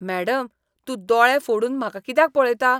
Madam, तूं दोळें फोडून म्हाका कित्याक पळयता?